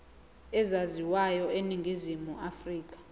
ezaziwayo eningizimu afrika